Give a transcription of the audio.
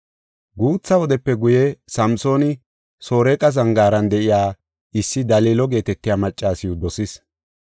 Guutha wodepe guye Samsooni Soreqa zangaaran de7iya issi Dalilo geetetiya maccasiw dosis.